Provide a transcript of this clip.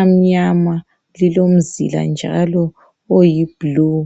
amnyama. Lilomzila njalo oyiblue.